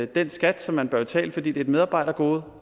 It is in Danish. den skat som man bør betale fordi det er et medarbejdergode